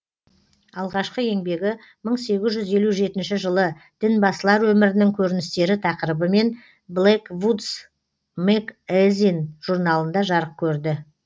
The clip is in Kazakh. алғашқы еңбегі мың сегіз жүз елу жетінші жылы дінбасылар өмірінің көріністері тақырыбымен блэквудз мэгэзин журналында жарық көрді